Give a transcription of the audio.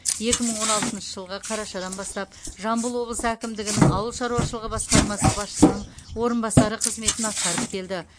екі мың он алтыншы жылғы қарашадан бастап жамбыл облысы әкімдігінің ауыл шаруашылығы басқармасы басшысының орынбасары қызметін атқарып келді